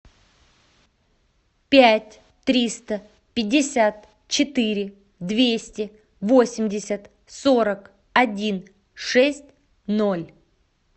пять триста пятьдесят четыре двести восемьдесят сорок один шесть ноль